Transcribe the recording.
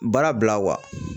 Baara bila